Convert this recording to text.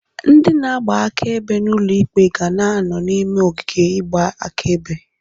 Ndị na-agba akaebe n'ụlọ ikpe ga na-anọ n'ime ogige igba akaebe.